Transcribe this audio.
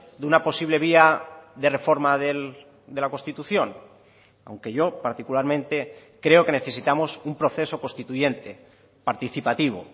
de una posible vía de reforma de la constitución aunque yo particularmente creo que necesitamos un proceso constituyente participativo